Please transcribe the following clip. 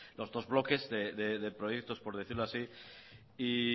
los dos bloques de proyectos por decirlo así y